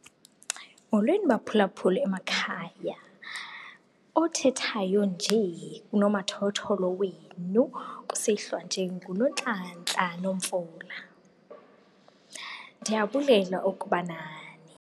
Molweni baphulaphuli emakhaya, othethayo nje kunomathotholo wenu kusihlwa nje nguNontlantla Nomvula. Ndiyabulela ukuba nani.